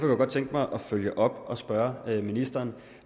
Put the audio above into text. jeg godt tænke mig at følge op og spørge ministeren